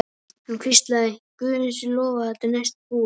Hann hvíslaði: Guði sé lof að þetta er næstum búið.